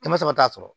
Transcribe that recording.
Kɛmɛ saba t'a sɔrɔ